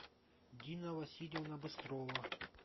дина васильевна быстрова